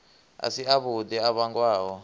a si avhuḓi a vhangwaho